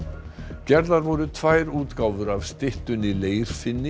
gerðar voru tvær útgáfur af styttunni